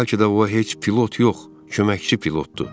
Bəlkə də o heç pilot yox, köməkçi pilotdur.